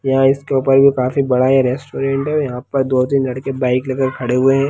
यहाँ इसे ऊपर भी काफी बड़ा रेस्टोरेंट है और यहाँ पे दो तीन लड़के बाइक लेकर खड़े हैं।